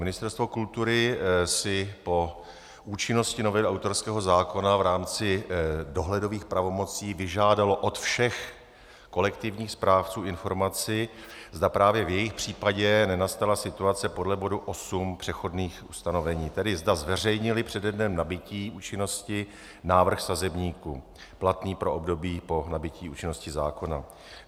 Ministerstvo kultury si po účinnosti novely autorského zákona v rámci dohledových pravomocí vyžádalo od všech kolektivních správců informaci, zda právě v jejich případě nenastala situace podle bodu 8 přechodných ustanovení, tedy zda zveřejnili přede dnem nabytí účinnosti návrh sazebníku platný pro období po nabytí účinnosti zákona.